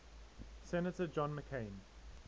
senator john mccain